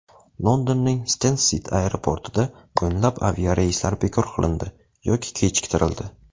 Londonning Stensted aeroportida o‘nlab aviareyslar bekor qilindi yoki kechiktirildi.